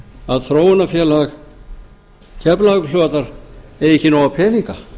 að þróunarfélag keflavíkurflugvallar eigi ekki nóga peninga